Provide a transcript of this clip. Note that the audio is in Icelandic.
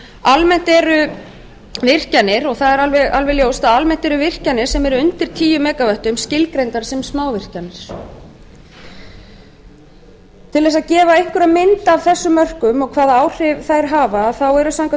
almennt eru virkjanir og það er alveg ljóst að almennt eru virkjanir sem eru undir tíu mega vöttum skilgreindar sem smávirkjanir til þess að gefa einhverja mynd af þessum mörkum og hvaða áhrif þær hafa eru samkvæmt